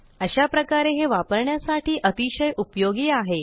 अशाप्रकारे हे वापरण्यासाठी अतिशय उपयोगी आहे